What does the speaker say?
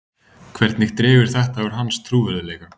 Hvernig dregur þetta úr hans trúverðugleika?